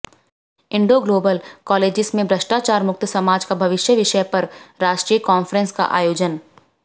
Indo Global colleges में भ्रष्टाचार मुक्त समाज का भविष्य विषय पर राष्ट्रीय कांफ्रेंस का आयोजन